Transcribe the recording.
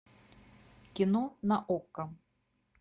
кино на окко